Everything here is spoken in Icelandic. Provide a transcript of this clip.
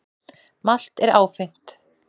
Malt er áfengt.